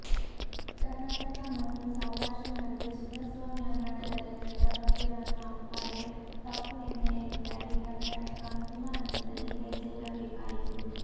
ಕರ್ನಾಟಕ ಮತ್ತು ಸೌರಾಷ್ಟ್ರ ನಡುವೆ ಚಿನ್ನಸ್ವಾಮಿ ಅಂಗಣದಲ್ಲಿ ನಡೆದ ಪಂದ್ಯವನ್ನು ಅಂಪೈರ್ ತಪ್ಪು ನಿರ್ಣಯದಿಂದಾಗಿ ಕರ್ನಾಟಕ ಅಂತಿಮ ಹಂತದಲ್ಲಿ ಕೈಚೆಲ್ಲಬೇಕಾಯಿತು